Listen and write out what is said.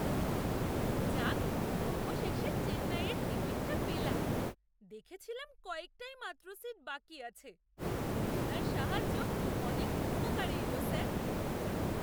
যাক! অবশেষে চেন্নাইয়ের টিকিটটা পেলাম। দেখেছিলাম কয়েকটাই মাত্র সিট বাকি আছে। আপনার সাহায্য অনেক উপকারে এলো স্যার।